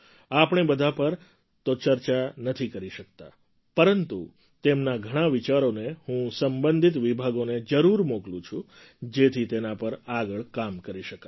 આપણે બધા પર તો ચર્ચા નથી કરી શકતા પરંતુ તેમાંના ઘણા વિચારોને હું સંબંધિત વિભાગોને જરૂર મોકલું છું જેથી તેના પર આગળ કામ કરી શકાય